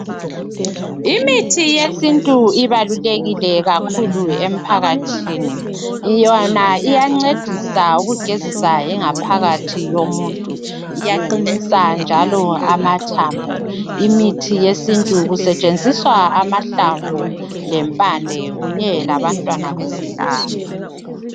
Imithi yesintu ibalulekile kakhulu emphakathini. Yona iyancedisa ukugezisa ingaphakathi yomuntu. Iyaqinisa njalo amathambo. Kusetshenziswa amahlamvu, lempande, kunye labantwana bezihlahla.